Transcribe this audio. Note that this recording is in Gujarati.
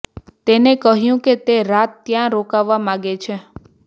તેને કહ્યું કે તે રાત ત્યાં રોકાવા માંગે છે